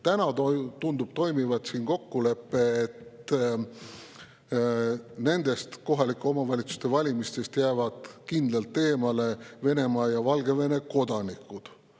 Täna tundub siin toimivat kokkulepe, et nendest kohaliku omavalitsuse valimistest jäävad kindlalt eemale Venemaa ja Valgevene kodanikud.